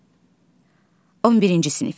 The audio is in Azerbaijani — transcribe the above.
11-ci sinif.